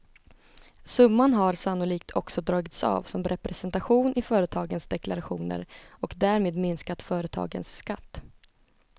Summan har sannolikt också dragits av som representation i företagens deklarationer och därmed minskat företagens skatt.